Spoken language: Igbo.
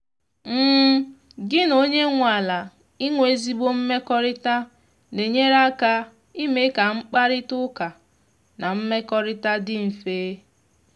gi na onye nwe ala inwe ezigbo mmekọrịta na-enyere aka ime ka mkparịta ụka na mmekọrịta dị mfe.